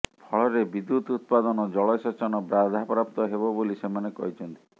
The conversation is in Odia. ଫଳରେ ବିଦୁ୍ୟତ୍ ଉତ୍ପାଦନ ଜଳସେଚନ ବାଧାପ୍ରାପ୍ତ ହେବ ବୋଲି ସେମାନେ କହିଛନ୍ତି